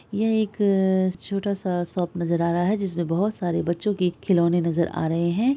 यह एक आ छोटा सा शॉप नज़र आ रहा है जिसमे बहोत सारे बच्चो के खिलौने नज़र आ रहे है।